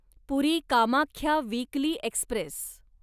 puri Kamakhya weekly Express